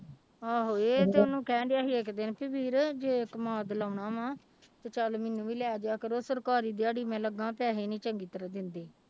ਆਹੋ ਇਹ ਤੇ ਉਹਨੂੰ ਕਹਿਣਡਿਆ ਸੀ ਇੱਕ ਦਿਨ ਵੀ ਵੀਰ ਜੇ ਕਮਾਦ ਲਾਉਣਾ ਵਾਂ ਤੇ ਚੱਲ ਮੈਨੂੰ ਵੀ ਲੈ ਜਾ ਕਰੋ ਸਰਕਾਰੀ ਦਿਹਾੜੀ ਮੈਂ ਲੱਗਾਂ ਪੈਸੇ ਨੀ ਚੰਗੀ ਤਰ੍ਹਾਂ ਦਿੰਦੇ।